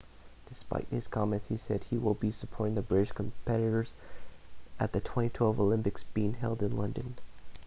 despite his comments he said he will be supporting the british competitors at the 2012 olympics being held in london